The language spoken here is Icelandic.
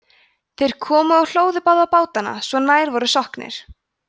þeir komu og hlóðu báða bátana svo að nær voru sokknir